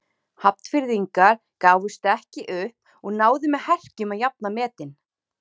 Hafnfirðingar gáfust ekki upp og náðu með herkjum að jafna metin.